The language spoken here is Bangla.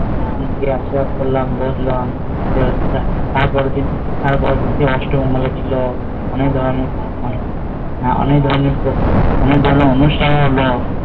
আসলাম গিয়ে বসলাম তার পরের দিন অষ্টমী ছিল খেলা হলো